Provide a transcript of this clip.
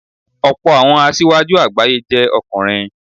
Ọ̀pọ̀ àwọn asíwájú àgbáyé jẹ́ ọkùnrin.